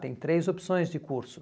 Tem três opções de curso.